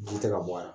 Ji tɛ ka bɔ a la